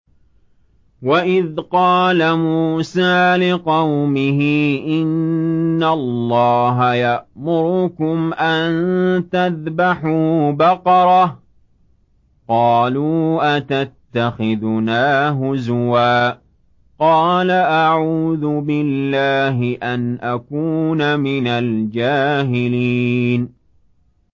وَإِذْ قَالَ مُوسَىٰ لِقَوْمِهِ إِنَّ اللَّهَ يَأْمُرُكُمْ أَن تَذْبَحُوا بَقَرَةً ۖ قَالُوا أَتَتَّخِذُنَا هُزُوًا ۖ قَالَ أَعُوذُ بِاللَّهِ أَنْ أَكُونَ مِنَ الْجَاهِلِينَ